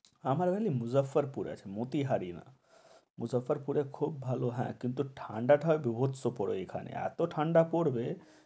আমার হল মুজাফ্ফরপুর আছে মতিহারি না মুসাফফুঁর পুরে খুব ভালো হ্যাঁ কিন্তু ঠান্ডা টা বীভৎস পড়ে এখানে, এত ঠান্ডা পরবে